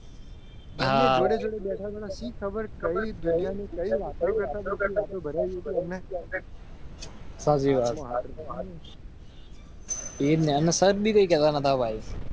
ખબર કઈ? સાજીવાવ. એને નો.